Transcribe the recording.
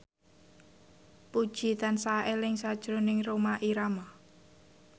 Puji tansah eling sakjroning Rhoma Irama